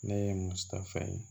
Ne ye musaka fɛn ye